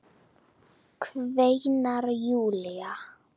kveinar Júlía.